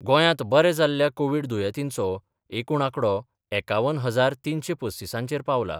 गोंयांत बरें जाल्ल्या कोव्हीड दुयेंतींचो एकूण आकडो एकावन हजार तिनशें पस्तिसांचेर पावला.